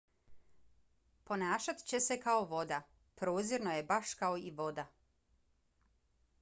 ponašat će se kao voda. prozirno je baš kao i voda.